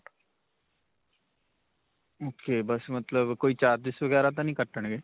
ok. ਬਸ ਮਤਲਬ ਕੋਈ charges ਵਗੈਰਾ ਤਾਂ ਨਹੀਂ ਕੱਟਣਗੇ?